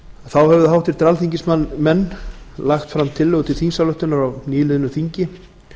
þá hafa háttvirtir alþingismenn lagt fram tillögu til þingsályktunar á nýliðnu þingi